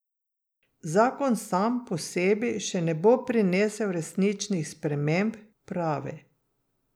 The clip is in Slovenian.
Zakon sam po sebi še ne bo prinesel resničnih sprememb, pravi.